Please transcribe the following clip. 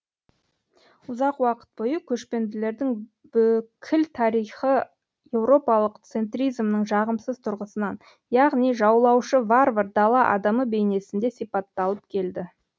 ұзақ уақыт бойы көшпенділердің бүкіл тарихы еуропалык центризмнің жағымсыз түрғысынан яғни жаулаушы варвар дала адамы бейнесінде сипатталып келді